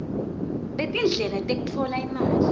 betindlela tekutfola imali